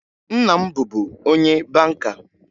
Nna m bụbu onye banka